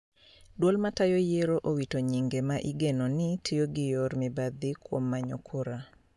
Duol matayo yiero owito nyinge ma igeno ni tiyo gi yor mibadhi kuom manyo kura